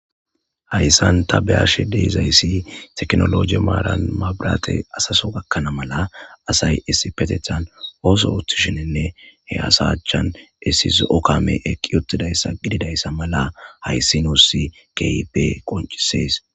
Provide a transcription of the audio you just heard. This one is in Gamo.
Hayssan ta beyashe deizayssi teknologi maaran mabirate asaso gakkana mala asay issi petethan ooso uthishininne he asachan issi zo7o kame eqqi uttidayssa gididayssa mala hayssi nuussi keipe qoncisees.